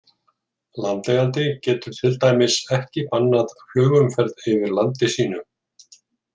Landeigandi getur til dæmis ekki bannað flugumferð yfir landi sínu.